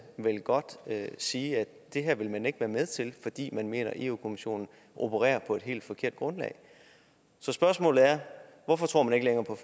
vel godt sige at det her vil man ikke være med til fordi man mener at europa kommissionen opererer på et helt forkert grundlag så spørgsmålet er hvorfor tror man ikke længere på